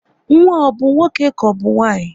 Nwa ahụ ọ bụ nwoke ka ọbụ nwanyị?